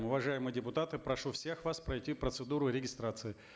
уважаемые депутаты прошу всех вас пройти процедуру регистрации